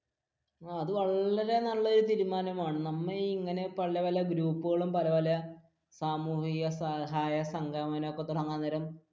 അത് വളരെ നല്ലൊരു തീരുമാനമാണ് നമ്മൾ ഇങ്ങനെ പല പൽ ഗ്രൂപ്പുകളും പല പല സാമൂഹിക സഹായക സംഘം തുടങ്ങാൻ നേരം